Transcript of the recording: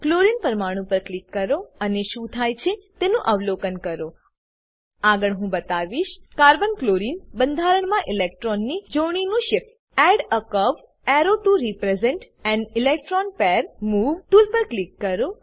chlorine પરમાણુ પર click કરો અને શું થાય છે તેનું અવલોકન કરો આગળ હું બતાવીશ carbon ક્લોરીન બંધાણમાં ઇલેક્ટ્રોનની જોડણીનું shift add a curved arrow to represent an electron pair move tool પર ક્લિક કરો